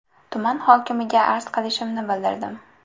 Tuman hokimiga arz qilishimni bildirdim.